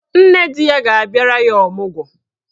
Nne di ya ga-abịara ya ọmụgwọ.